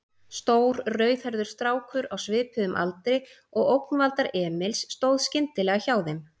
Stór, rauðhærður strákur á svipuðum aldri og ógnvaldar Emils stóð skyndilega hjá þeim.